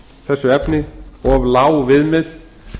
þessu efni of lág viðmið